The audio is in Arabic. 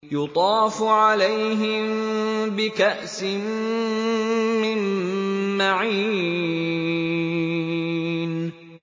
يُطَافُ عَلَيْهِم بِكَأْسٍ مِّن مَّعِينٍ